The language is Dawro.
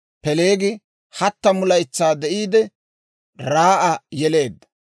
Peeleegi 30 laytsaa de'iide, Raa'a yeleedda;